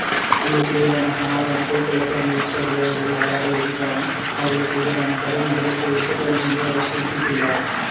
இனங்களுக்கிடையிலான சமாதானத்தை குழப்ப முற்படுபவர்கள் யாராக இருந்தாலும் அவர்களுக்கு எதிராக கடும் நடவடிக்கை எடுக்கப்படும் என்றும் அவர் குறிப்பிட்டுள்ளார்